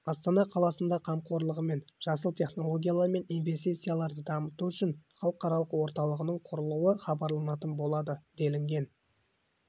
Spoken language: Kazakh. астана қаласында қамқорлығымен жасыл технологиялар мен инвестицияларды дамыту үшін халықаралық орталығының құрылуы хабарланатын болады делінген